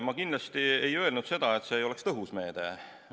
Ma kindlasti ei öelnud, et see ei oleks tõhus meede.